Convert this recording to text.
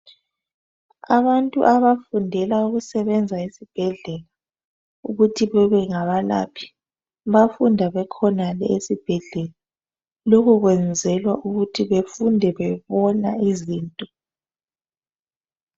Abantu abafundela ukusebenza esibhedlela ukuthi bebe ngabalaphi bafunda bekhonale esibhedlela. Lokho kwenzelwa ukuthi bafunde bebona izinto.